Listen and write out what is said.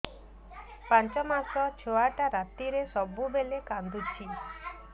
ପାଞ୍ଚ ମାସ ଛୁଆଟା ରାତିରେ ସବୁବେଳେ କାନ୍ଦୁଚି